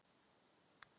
Allt annað er hjóm eitt.